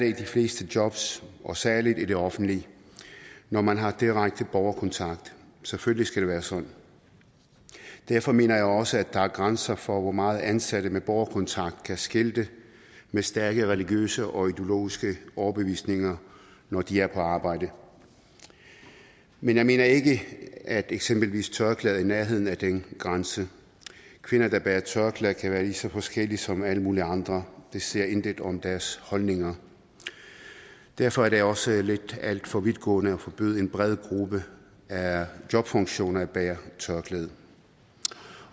i de fleste jobs og særligt i det offentlige når man har direkte borgerkontakt selvfølgelig skal det være sådan derfor mener jeg også at der er grænser for hvor meget ansatte med borgerkontakt kan skilte med stærke religiøse og ideologiske overbevisninger når de er på arbejde men jeg mener ikke at eksempelvis tørklæde er i nærheden af den grænse kvinder der bærer tørklæde kan være lige så forskellige som alle mulige andre det siger intet om deres holdninger derfor er det også alt for vidtgående at forbyde en bred gruppe af jobfunktioner at bære tørklæde